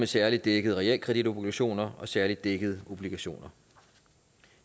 særlig dækkede realkreditobligationer og særlig dækkede obligationer